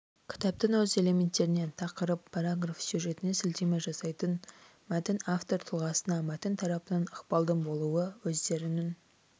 кітаптың өз элементтеріне тақырып параграф сюжетіне сілтеме жасайтын мәтін автор тұлғасына мәтін тарапынан ықпалдың болуы өздерінің